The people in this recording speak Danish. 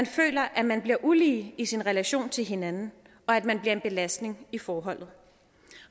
føler at man bliver ulige i sin relation til hinanden og at man bliver en belastning i forholdet